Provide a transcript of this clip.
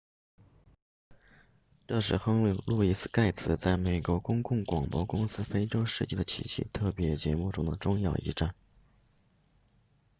这是亨利路易斯盖茨 henry louis gates 在美国公共广播公司的非洲世界的奇迹特别节目中的重要一站